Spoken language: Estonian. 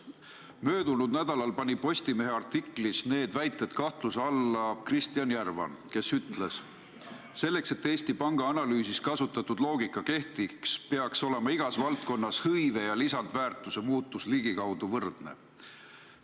Möödunud nädalal pani Postimehe artiklis need väited kahtluse alla Kristjan Järvan, kes ütles: "Selleks, et Eesti Panga analüüsis kasutatud loogika kehtiks, peaks igas valdkonnas olema hõive ja lisandväärtuse muutus ligikaudu võrdne.